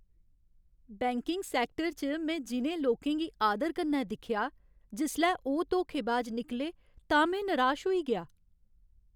Banking sector च में जि'नें लोकें गी आदर कन्नै दिक्खेआ, जिसलै ओह् धोखेबाज निकले तां में निराश होई गेआ ।